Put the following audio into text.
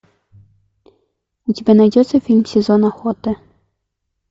у тебя найдется фильм сезон охоты